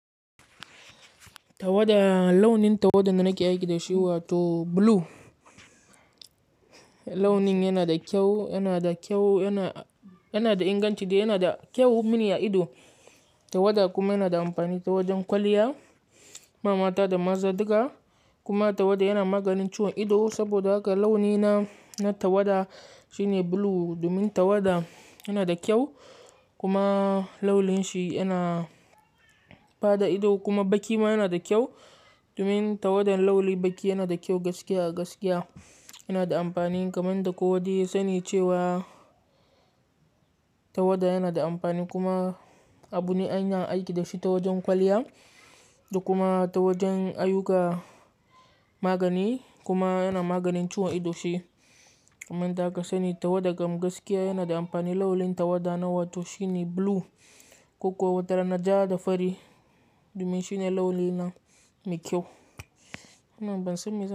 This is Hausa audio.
Tawada launin tawada da nake aiki da shi wato blue launin yana da kyau, yana da kyau, yana, yana da inganci dai yana da kyau mini a ido. Tawada kuma yana da amfani ta wajen kwalliya ma mata da maza duka kuma tawada yana maganin ciwon ido saboda haka launina na tawada shine blue. Domin tawada yana da kyau kuma launin shi yana bada ido kuma baki ma yana da kyau. Domin tawadan lauli baki yana da kyau gaskiya gaskiya yana da amfani kamar yadda kowa dai ya sani cewa tawada yana da amfani kuma abu ne a ana aiki da shi ta wajen kwalliya da kuma ta wajen ayyuka magani kuma yana maganin ciwon ido shi. Kamar yadda aka sani tawada kam gaskiya yana da amfani launin tawada nawa to shine blue ko kuwa wata rana ja da fari domin shine launi nan mai kyau. Nan ban san me zan-